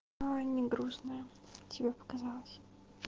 аа не грустная тебе показалось